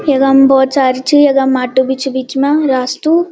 यकम भौत सारी च यखम माटु बि च बिच मा रास्तू।